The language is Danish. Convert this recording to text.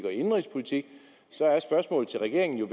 og indenrigspolitik så er spørgsmålet til regeringen jo